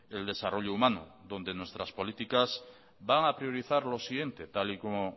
el desarrollo humano donde nuestras políticas van a priorizar lo siguiente tal y como